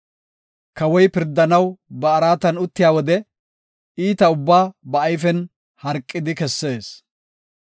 Kawoy pirdanaw ba araatan uttiya wode, iita ubbaa ba ayfen harqidi kessees.